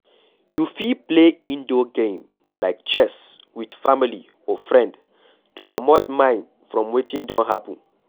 You fit play indoor game like chess with family or friend to comot mind from wetin don happen